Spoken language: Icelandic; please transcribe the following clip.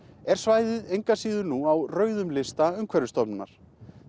er svæðið engu að síður nú á rauðum lista Umhverfisstofnunar